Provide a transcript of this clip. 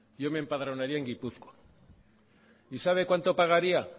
yo me empadronaría en gipuzkoa y sabe cuánto pagaría